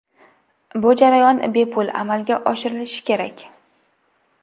Bu jarayon bepul amalga oshirilishi kerak.